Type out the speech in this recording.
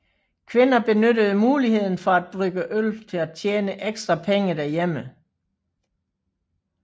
Kvinder benyttede muligheden for at brygge øl til at tjene ekstra penge derhjemme